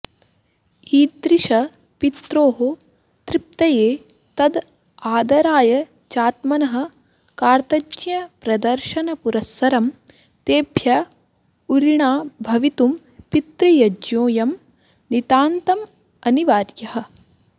ईदृश पित्रोः तृप्तये तद् आदराय चात्मनः कार्तज्ञ्यप्रदर्शनपुरस्सरं तेभ्य उऋणा भवितुं पितृयज्ञोऽयं नितान्तमनिवार्यः